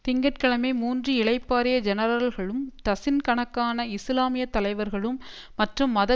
திங்க கிழமை மூன்று இளைப்பாறிய ஜெனரல்களும் டசின்கணக்கான இஸ்லாமிய தலைவர்களும் மற்றும் மத